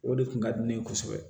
O de kun ka di ne ye kosɛbɛ